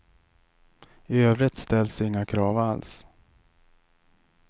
I övrigt ställs inga krav alls.